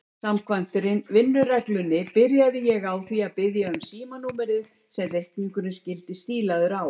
Samkvæmt vinnureglunni byrjaði ég á því að biðja um símanúmerið sem reikningurinn skyldi stílaður á.